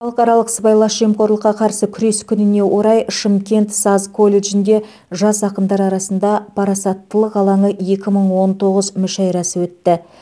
халықаралық сыбайлас жемқорлыққа қарсы күрес күніне орай шымкент саз колледжінде жас ақындар арасында парасаттылық алаңы екі мың он тоғыз мүшәйрасы өтті